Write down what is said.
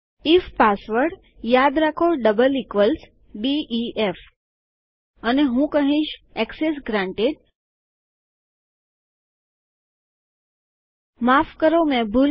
if password યાદ રાખો double equals DEF અને હું કહીશ એક્સેસ ગ્રાન્ટેડ મને માફ કરોમેં ભૂલ કરી